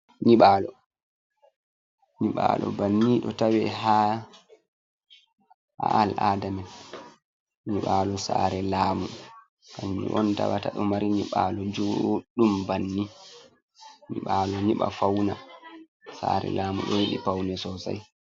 Nyibalo banni ɗo tawe ha ha al'adamen, nyiɓalu saare laamu kamji on tawata ɗo mari nyiɓalu juɗum banni, nyiɓalo nyiɓa fauna saare lamu ɗo yiɗi paune sosai.